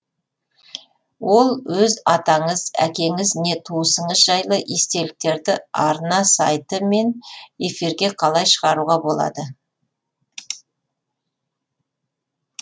ол өз атаңыз әкеңіз не туысыңыз жайлы естеліктерді арна сайты мен эфирге қалай шығаруға болады